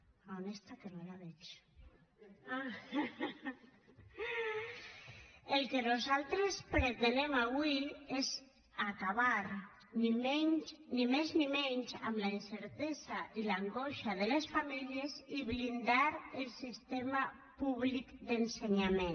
a on està que no la veig ah el que nosaltres pretenem avui és acabar ni més ni menys amb la incertesa i l’angoixa de les famílies i blindar el sistema públic d’ensenyament